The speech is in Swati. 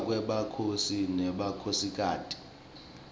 kufa kwemakhosi nemakhosikati